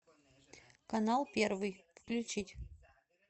канал первый включить